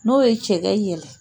N'o ye cɛkɛ yɛlɛ